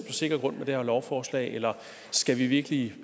sikker grund med det her lovforslag eller skal vi virkelig